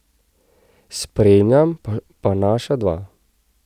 Spremljam pa naša dva.